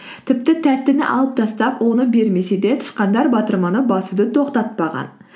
тіпті тәттіні алып тастап оны бермесе де тышқандар батырманы басуды тоқтатпаған